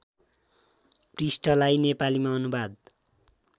पृष्ठलाई नेपालीमा अनुवाद